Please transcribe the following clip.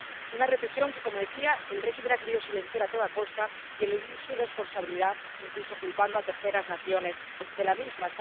Una represión que —como decía— el régimen ha querido silenciar a toda costa, así como eludir su responsabilidad, incluso culpando a terceras naciones de la misma.